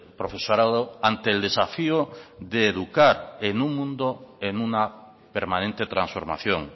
profesorado ante el desafío de educar en un mundo en una permanente transformación